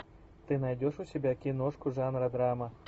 ты найдешь у себя киношку жанра драма